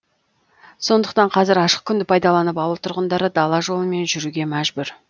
сондықтан қазір ашық күнді пайдаланып ауыл тұрғындары дала жолымен жүруге мәжбүр